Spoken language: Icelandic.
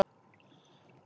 Ég er í fríi